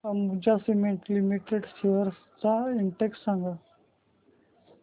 Ambuja cement limited shares चा index सांगा